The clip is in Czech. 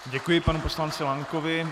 Děkuji panu poslanci Lankovi.